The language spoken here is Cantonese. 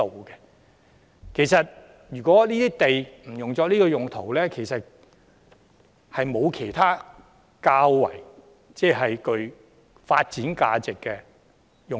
因此，即使這些土地不是作現時的用途，也不見得會有其他較具發展價值的用途。